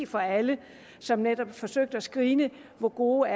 for alle som netop forsøgte at screene hvor gode